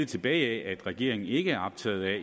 tilbage af at regeringen ikke er optaget af at